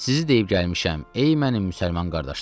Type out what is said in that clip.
Sizi deyib gəlmişəm, ey mənim müsəlman qardaşlarım.